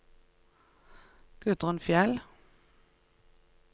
Gudrun Fjeld